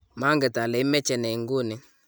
manget ale imeche ne nguni